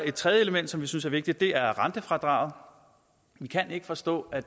et tredje element som vi synes er vigtigt er rentefradraget vi kan ikke forstå at